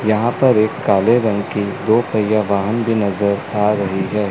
यहां पर एक काले रंग की दो पहिया वाहन भी नजर आ रही है।